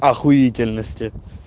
ахуительности